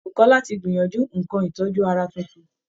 Bùkọ́lá ti gbìyànjú nǹkan ìtọ́jú ara tuntun